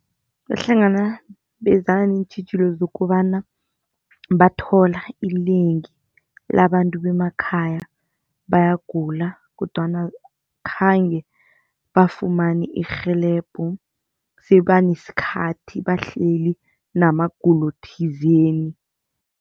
Bahlangabezana neentjhijilo zokobana bathola inengi labantu bemakhaya bayagula kodwana akhange bafumane irhelebho sebanesikhathi bahleli namagulo thizeni.